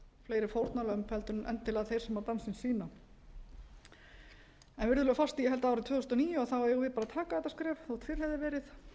fleiri fórnarlömb heldur en endilega þeir sem dansinn sýna virðulegur forseti ég held að árið tvö þúsund og níu eigum við bara að taka þetta skref þótt fyrr hefði verið